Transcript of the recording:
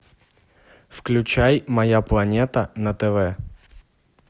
включай моя планета на тв